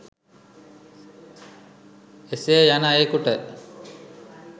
එසේ යන අයෙකුට